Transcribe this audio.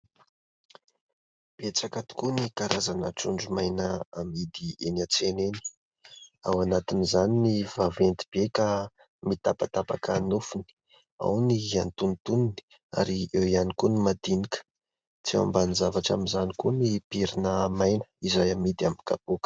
Betsaka tokoa ny karazana trondromaina amidy eny an-tsena eny, ao anatin'izany ny vaventy be ka mitapatapaka nofony, ao ny antonontonony ary eo ihany koa ny madinika. Tsy ambanin-javatra amin'izany koa ny pirina maina izay amidy amin'ny kapoaka.